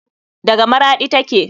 Daga maraɗi take.